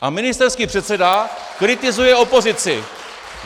A ministerský předseda kritizuje opozici!